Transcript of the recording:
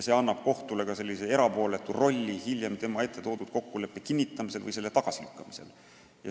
See annab kohtule sellise erapooletu rolli hiljem tema ette toodud kokkuleppe kinnitamisel või selle tagasilükkamisel.